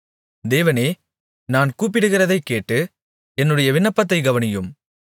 தேவனே நான் கூப்பிடுகிறதைக் கேட்டு என்னுடைய விண்ணப்பத்தைக் கவனியும்